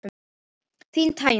Þín Tanya.